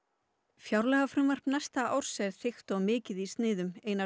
fjárlagafrumvarp næsta árs er þykkt og mikið í sniðum einar